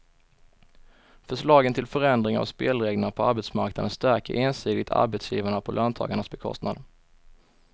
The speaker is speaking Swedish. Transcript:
Förslagen till förändring av spelreglerna på arbetsmarknaden stärker ensidigt arbetsgivarna på löntagarnas bekostnad.